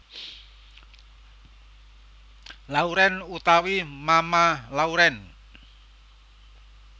Lauren utawi Mama Lauren